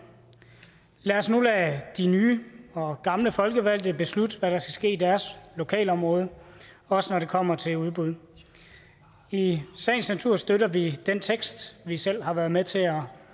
lad os nu lade de nye og gamle folkevalgte beslutte hvad der skal ske i deres lokalområde også når det kommer til udbud i sagens natur støtter vi den tekst vi selv har været med til at